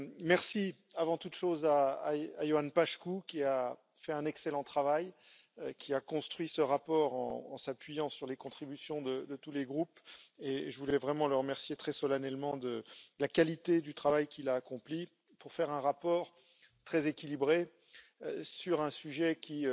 Merci avant toute chose à Ioan Paşcu qui a fait un excellent travail, qui a construit ce rapport en s'appuyant sur les contributions de tous les groupes, et je voulais vraiment le remercier très solennellement de la qualité du travail qu'il a accompli pour faire un rapport très équilibré sur un sujet qui